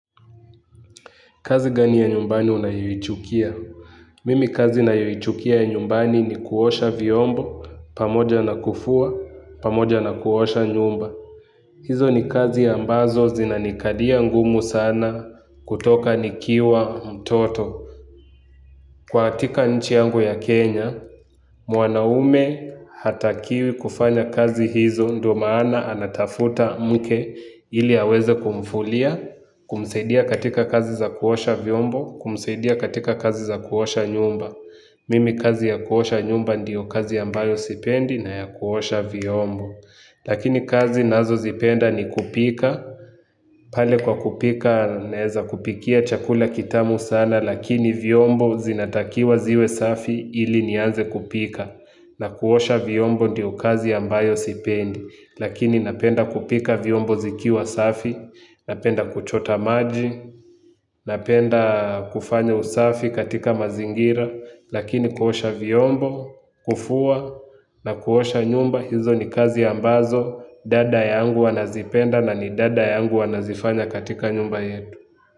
Kazi gani ya nyumbani unayuichukia? Mimi kazi nayoichukia ya nyumbani ni kuosha vyombo, pamoja na kufua, pamoja na kuosha nyumba. Hizo ni kazi ya ambazo zinanikalia ngumu sana kutoka nikiwa mtoto. Katika nchi yangu ya Kenya, mwanaume hatakiwi kufanya kazi hizo ndo maana anatafuta mke ili aweze kumfulia, kumsaidia katika kazi za kuosha vyombo kumsaidia katika kazi za kuosha nyumba mimi kazi ya kuosha nyumba ndiyo kazi ambayo siipendi na ya kuosha vyombo lakini kazi nazo zipenda ni kupika pale kwa kupika naweza kupikia chakula kitamu sana lakini vyombo zinatakiwa ziwe safi ili nianze kupika na kuosha vyombo ndiyo kazi ambayo sipendi lakini napenda kupika vyombo zikiwa safi. Napenda kuchota maji, napenda kufanya usafi katika mazingira. Lakini kuhosha viombo, kufua na kuhosha nyumba. Hizo ni kazi ambazo, dada yangu wanazipenda na ni dada yangu wanazifanya katika nyumba yetu.